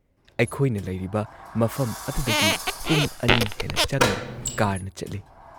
ꯑꯩꯈꯣꯏꯅ ꯂꯩꯔꯤꯕ ꯃꯐꯝ ꯑꯗꯨꯗꯒꯤ ꯄꯨꯡ ꯲ ꯍꯦꯟꯅ ꯆꯪꯅ ꯀꯥꯔꯅ ꯆꯠꯂꯤ ꯫